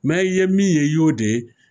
Mɛ i ye min ye i y'o de ye.